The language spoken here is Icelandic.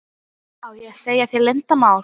Á ég að segja þér leyndarmál?